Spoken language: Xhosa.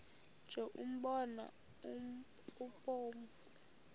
nje umbona obomvu